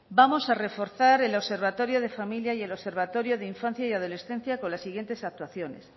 vamos a reforzar el observatorio de familia y el observatorio de infancia y adolescencia con la siguientes actuaciones